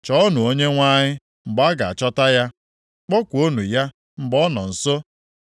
Chọọnụ Onyenwe anyị mgbe a ga-achọta ya. Kpọkuonụ ya mgbe ọ nọ nso.